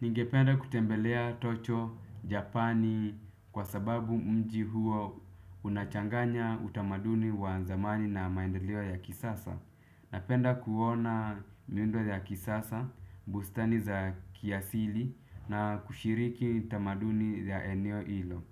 Ningependa kutembelea tocho Japani kwa sababu mji huo unachanganya utamaduni wa zamani na maendaleo ya kisasa. Napenda kuona miundo ya kisasa, bustani za kiasili na kushiriki utamaduni ya eneo ilo.